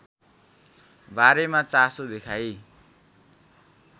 बारेमा चासो देखाई